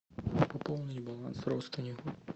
пополнить баланс родственнику